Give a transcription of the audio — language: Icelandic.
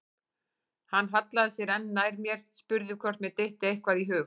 Hann hallaði sér enn nær mér, spurði hvort mér dytti eitthvað í hug.